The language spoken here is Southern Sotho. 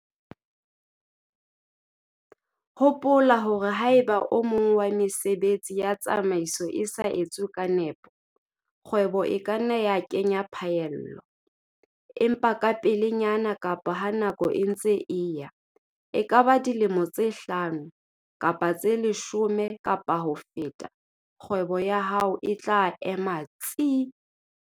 Hopola hore haeba o mong wa mesebetsi ya tsamaiso o sa etswe ka nepo, kgwebo e ka nna ya kenya phaello, empa kapelenyana kapa ha nako e ntse e eya - e ka ba dilemo tse hlano kapa tse leshome kapa ho feta - kgwebo ya hao e tla ema tsii.